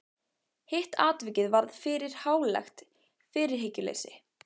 Hitt atvikið varð fyrir hlálegt fyrirhyggjuleysi.